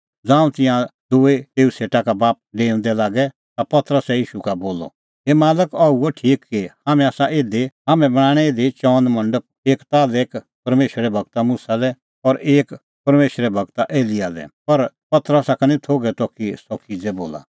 ज़ांऊं तिंयां दूई तेऊ सेटा का बापस डेऊंदै लागै ता पतरसै ईशू का बोलअ हे मालक अह हुअ ठीक कि हाम्हैं आसा इधी हाम्हां बणांणैं इधी चअन मंडप एक ताल्है एक परमेशरे गूर मुसा लै और एक परमेशरे गूर एलियाह लै पर पतरसा का निं थोघै त कि सह किज़ै बोला